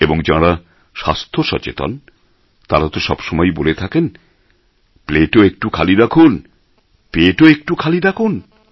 এবং যাঁরা স্বাস্থ্যসচেতন তাঁরা তো সবসময়েই বলে থাকেন প্লেটও একটু খালি রাখুন পেটও একটু খালি রাখুন